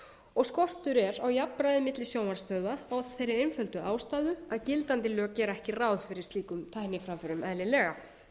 og skortur er á jafnræði milli sjónvarpsstöðva af þeirri einföldu ástæðu að gildandi lög gera ekki ráð fyrir slíkum tækniframförum eðlilega